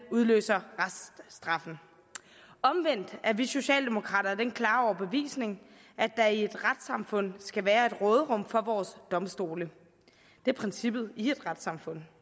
udløser reststraffen omvendt er vi socialdemokrater af den klare overbevisning at der i et retssamfund skal være et råderum for vores domstole det er princippet i et retssamfund